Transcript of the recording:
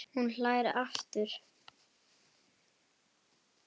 Hún hlær aftur.